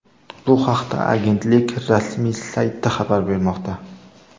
Bu haqda agentlik rasmiy sayti xabar bermoqda .